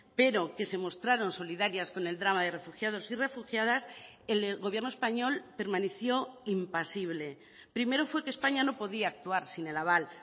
pero que se mostraron solidarias con el drama de refugiados y refugiadas el gobierno español permaneció impasible primero fue que españa no podía actuar sin el aval